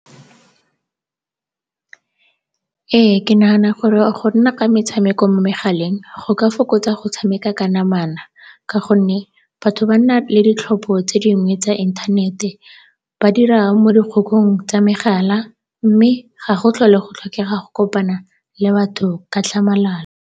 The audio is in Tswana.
Ee, ke nagana gore go nna ka metshameko mo megaleng go ka fokotsa go tshameka ka namana ka gonne batho ba nna le ditlhopho tse dingwe tsa inthanete, ba dira mo tsa megala mme ga go tlhole go tlhokega go kopana le batho ka tlhamalalo.